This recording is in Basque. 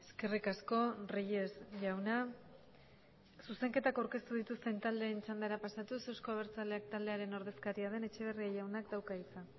eskerrik asko reyes jauna zuzenketak aurkeztu dituzten taldeen txandara pasatuz euzko abertzaleak taldearen ordezkari den etxeberria jaunak dauka hitza